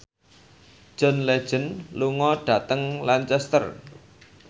John Legend lunga dhateng Lancaster